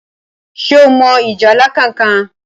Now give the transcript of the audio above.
ṣe o mọ ìjálá kánkan?